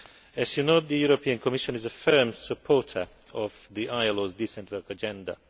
As you know, the European Commission is a firm supporter of the ILO's decent work agenda.